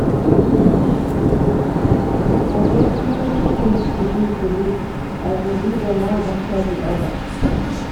I get plenty tins to do today, I go do dem one afta di oda.